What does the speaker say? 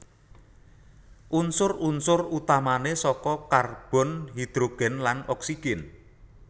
Unsur unsur utamané saka karbon hidrogen lan oksigen